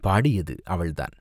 பாடியது, அவள் தான்.